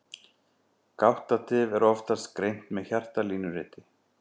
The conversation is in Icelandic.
Gáttatif er oftast greint með hjartalínuriti.